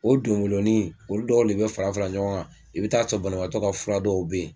O donboloni olu dɔw le bɛ fara fara ɲɔgɔn kan i bɛ taa sɔrɔ banabagatɔ ka fura dɔw bɛ yen,